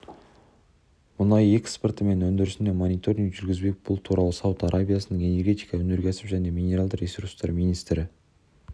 мұнай экспорты мен өндірісіне мониторинг жүргізбек бұл туралы сауд арабиясының энергетика өнеркәсіп және минералды ресурстар министрі